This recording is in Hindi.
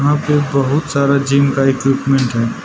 यहां पे बहुत सारा जिम का इक्विपमेंट है।